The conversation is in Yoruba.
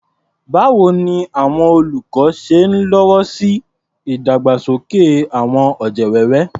Báwo ni àwọn olùkọ́ ṣe ń lọ́wọ́ sí ìdàgbàsókè àwọn ọ̀jẹ̀ wẹ́wẹ́?